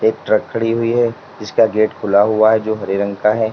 एक ट्रक खड़ी हुई है जिसका गेट खुला हुआ है जो हरे रंग का है।